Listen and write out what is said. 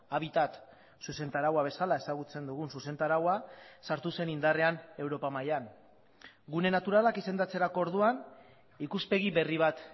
habitat zuzentaraua bezala ezagutzen dugun zuzentaraua sartu zen indarrean europa mailan gune naturalak izendatzerako orduan ikuspegi berri bat